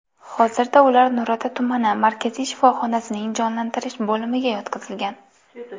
Hozirda ular Nurota tumani markaziy shifoxonasining jonlantirish bo‘limiga yotqizilgan.